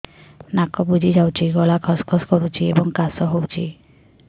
ନାକ ବୁଜି ଯାଉଛି ଗଳା ଖସ ଖସ କରୁଛି ଏବଂ କାଶ ହେଉଛି